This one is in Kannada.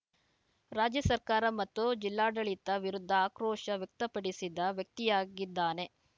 ರಾಜ್ಯ ಸರ್ಕಾರ ಮತ್ತು ಜಿಲ್ಲಾಡಳಿತದ ವಿರುದ್ಧ ಆಕ್ರೋಶ ವ್ಯಕ್ತಪಡಿಸಿದ ವ್ಯಕ್ತಿಯಾಗಿದ್ದಾನೆ